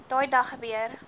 daai dag gebeur